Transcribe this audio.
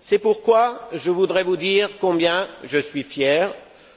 C'est pourquoi je voudrais vous dire combien je suis fier